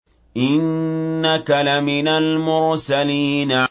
إِنَّكَ لَمِنَ الْمُرْسَلِينَ